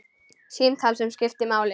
Símtal sem skiptir máli